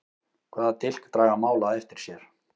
Hvaða dilk draga mál á eftir sér?